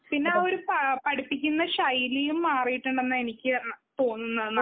പിന്നെ ആ ഒരു പഠിപ്പിക്കുന്ന ശൈലിയും മാറിട്ടുണ്ടന്നാണ്‌ എനിക്ക് തോന്നുന്നത്.